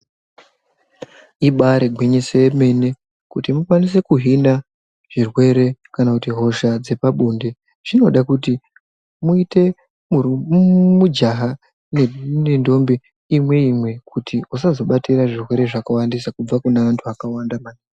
Ibari gwinyiso yemene kuti mukwanise kuhina zvirwere kana kuti hosha dzepabonde. Zvinoda kuti muite mujaha nendombi imwe-imwe kuti usazobatira zvirwere zvakawandisa kubva kune vantu vakawanda maningi.